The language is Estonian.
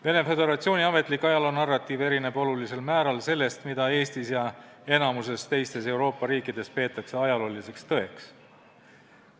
Vene Föderatsiooni ametlik ajaloonarratiiv erineb olulisel määral sellest, mida Eestis ja enamikus teistes Euroopa riikides peetakse ajalooliseks tõeks.